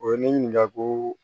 O ye ne ɲininka ko